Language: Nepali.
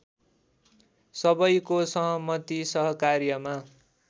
सबैको सहमति सहकार्यमा